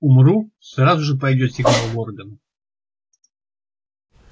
умру сразу же пойдёт сигнал в органы